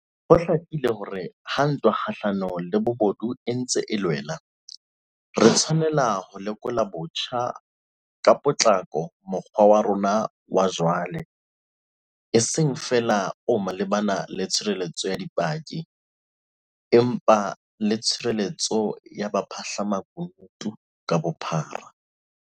Ho hlakile hore ha ntwa kgahlanong le bobodu e ntse e loela, re tshwanela ho lekola botjha ka potlako mokgwa wa rona wa jwale, e seng feela o malebana le tshireletso ya dipaki, empa le tshireletsong ya baphahlamakunutu ka bophara.